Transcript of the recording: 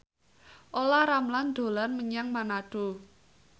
Olla Ramlan dolan menyang Manado